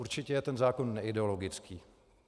Určitě je ten zákon neideologický.